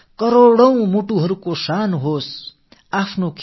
தோல்வியை நினைத்து துவளவேண்டாம்